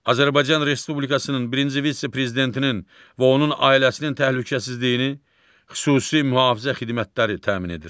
Azərbaycan Respublikasının birinci vitse-prezidentinin və onun ailəsinin təhlükəsizliyini xüsusi mühafizə xidmətləri təmin edir.